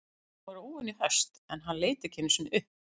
Hún var óvenju höst en hann leit ekki einu sinni upp.